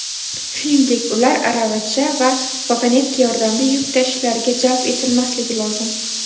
shuningdek ular aravacha va vagonetka yordamida yuk tashishlariga jalb etilmasligi lozim.